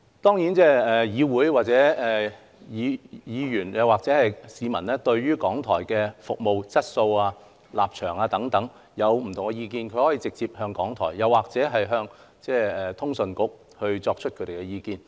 當然議員或市民對於港台的服務質素、立場等有不同的意見時，可以直接告訴港台，或向通訊事務管理局提出。